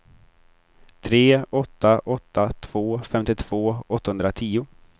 tre åtta åtta två femtiotvå åttahundratio